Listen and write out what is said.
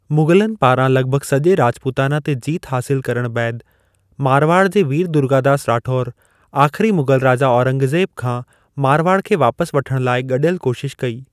मुग़लनि पारां लॻभॻु सॼे राॼपुताना ते जीत हासिल करणु बैदि, मारवाड़ जे वीर दुर्गादास राठौर आख़िरी मुग़ल राजा औरंगज़ेब खां मारवाड़ खे वापस वठण लाइ गॾयलु कोशिश कई।